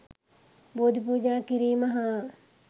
බෝධි පූජා කිරීම හා